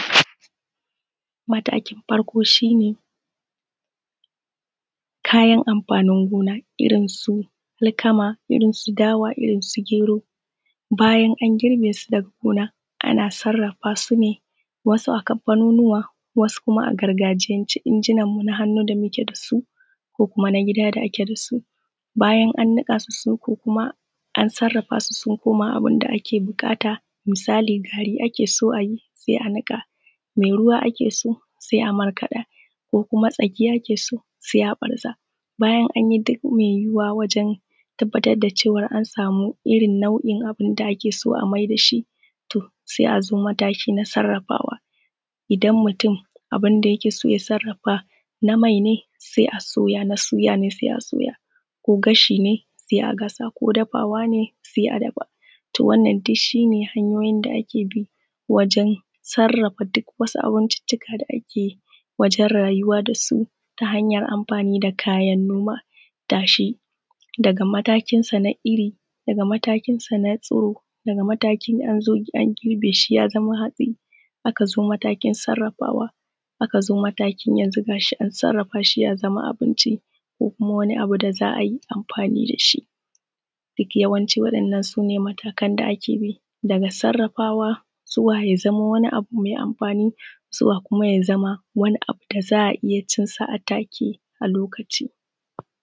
Matakin farko shi ne kayan amfanin gona irinsu alkama irnsu dawa, irnsu gero. Bayan an girbe su daga gona ana sarrafa su ane wasu kamfanunuka wasa gidaje a injinanmu na hannu da muke da su ko kuma na gida da ake da su. Bayan an niƙa su, an sarrafa su sun koma abu da ake buƙata misali gari ake son a yi, sai a niƙa. Mai ruwa ake so sai a markada ko kuma tsaki ake so sai a barza bayan an yi duk mai yuwuwa wajen tabbatar da cewa an samu rin nau'in da ake so a mayar da shi, sai a zo matakin sarrafawa. Idan mutum abun da yake so ya sarrafa na mai ne sai a soya na suya ko gashi ne sai a gasa ko dafawa ne sai a dafa. To wannan duk shi ne hanyoyin da ake bi wajen sarrafa duk wasu abincika da ake yi wajen rayuwa da su na kayan noma dashi. Daga matakinsa na iri daga matakinsa na ciro, daga an zo a girbe shi ya zama hatsi, aka xo mataki sarrafawa aka zo matakin yanzu ga shi an sarrafa shi ya zama abinci ko kuma wani abu da za a yi amfani da shi. Duk yawan ci waɗannan su ne matakan da za abi daga sarrafawa zuwa ya zamo wani abu mai amfani zuwa ya zama wani abunda za a iya cinsa a take a lokacin.